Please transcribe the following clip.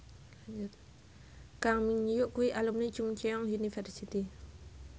Kang Min Hyuk kuwi alumni Chungceong University